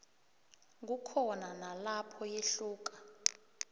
kukhona nalapho yehluka